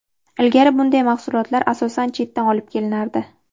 Ilgari bunday mahsulotlar asosan chetdan olib kelinardi.